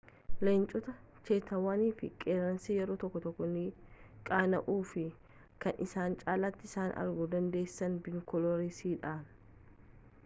leencotaa cheetawwan fi qeerransi yeroo tokko tokkoo ni qaana'uu fi kan isin caalati isaan arguu dandeessan binokularsiidhani